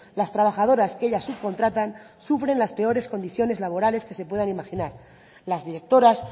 las trabajadoras que ellas subcontratan sufren las peores condiciones laborales que se puedan imaginar las directoras